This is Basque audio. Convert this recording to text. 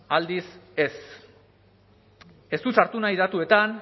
aldiz ez ez dut sartu nahi datuetan